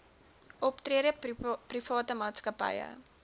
optrede private maatskappye